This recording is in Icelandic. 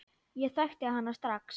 Ég þekkti hana strax.